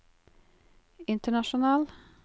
international